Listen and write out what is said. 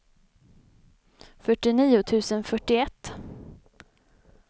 fyrtionio tusen fyrtioett